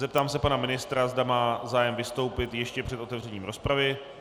Zeptám se pana ministra, zda má zájem vystoupit ještě před otevřením rozpravy.